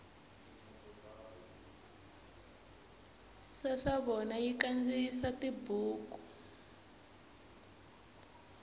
sasavona yi kandziyisa tibuku